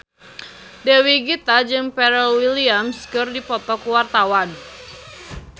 Dewi Gita jeung Pharrell Williams keur dipoto ku wartawan